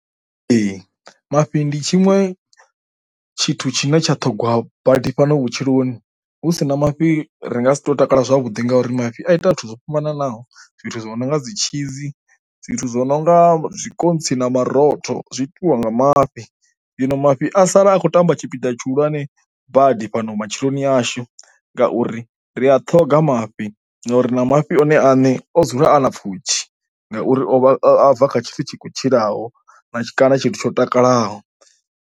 Ee mafhi ndi tshiṅwe tshithu tshine tsha ṱhongwa badi fhano vhutshiloni, hu si na mafhi ri nga si takala zwavhuḓi ngauri mafhi a ita zwithu zwo fhambananaho. Zwithu zwo no nga dzi tshizi, zwithu zwo no nga zwikontsi na marotho zwi itiwa nga mafhi, zwino mafhi a sala a tshi khou tamba tshipiḓa tshihulwane badi fhano matshiloni yashu ngauri ri a ṱhoga mafhi ngauri na mafhi one ane o dzula a na pfhushi ngauri o vha a bva kha tshithu tshi kho tshilaho na tshi, kana tsho takalaho.